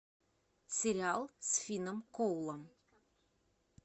сериал с финном коулом